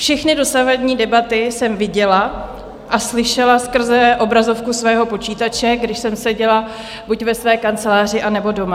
Všechny dosavadní debaty jsem viděla a slyšela skrze obrazovku svého počítače, když jsem seděla buď ve své kanceláři, anebo doma.